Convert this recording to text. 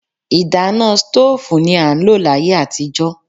Ìdáná stóòfù ni a ń lò láyé àtijó.